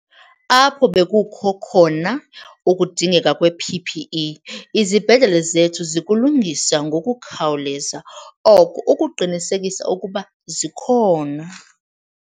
Apho bekukho khona ukudingeka kwe-PPE izibhedlele zethu zikulungisa ngokukhawuleza oko ukuqinisekisa ukuba zikhona.